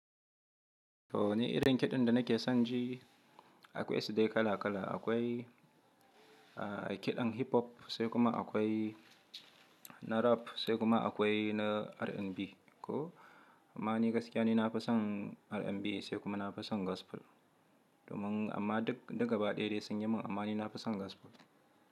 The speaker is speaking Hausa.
To ni irin kiɗan da nake son ji, akwai su dai kala kala. Akwai, kiɗan hip hop sai kuma akwai na rap, sai kuma akwai na R&B. Ko ma ni gaskiya ni na fi son R&B sai kuma na fi son gospel. Domin amma duk duka ba ɗaya dai sun yi min, amma ni na fi son gospel.